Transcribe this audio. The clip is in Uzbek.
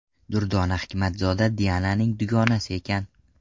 Durdona Hikmatzoda Diananing dugonasi ekan.